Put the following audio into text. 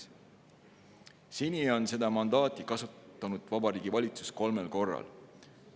Seni on Vabariigi Valitsus seda mandaati kasutanud kolmel korral.